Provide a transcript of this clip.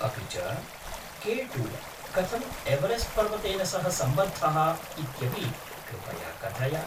अपि च, K two कथम् एवरेस्ट् पर्वतेन सह सम्बद्धः इत्यपि कृपया कथय।